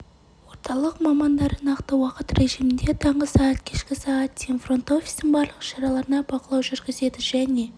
орталық мамандары нақты уақыт режимінде таңғы сағат кешкі сағат дейін фронт-офистің барлық іс-шараларына бақылау жүргізеді және